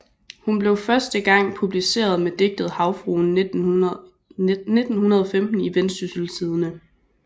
Hun blev første gang publiceret med digtet Havfruen 1915 i Vendsyssel Tidende